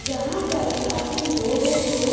यहाँ पर काफ़ी लोग हैं।